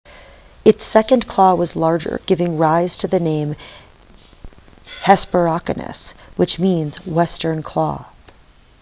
its second claw was larger giving rise to the name hesperonychus which means western claw